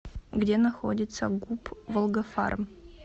где находится гуп волгофарм